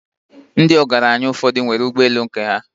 Ndi ogranya ufodu n nwere ụgbe elū nke ha